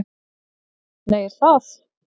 Nei, er það?